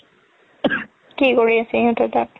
কি কৰি আছে সিহতে তাত